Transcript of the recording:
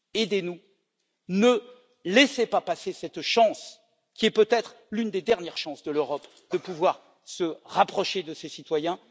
Aidez nous, ne laissez pas passer cette chance qui est peut être l'une des dernières chances de l'Europe de pouvoir se rapprocher de ses citoyens.